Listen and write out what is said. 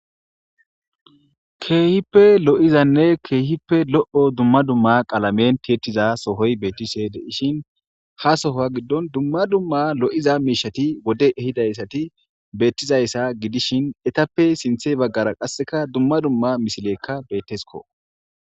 Keehippe lo'izanne keehippe lo'o dumma dumma qalamen tiettiza sohoy beettishe deishin ha sohoa giddon dumma dumma lo'iza miishati wode ehidayssati beettizayssa gidishin etappe sinthe baggara qasseka dumma dumma misilekka bettesko.